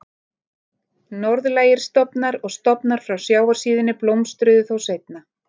Norðlægir stofnar og stofnar frá sjávarsíðunni blómstruðu þó seinna.